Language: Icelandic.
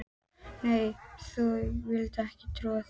Nei þau vildu ekki trúa því.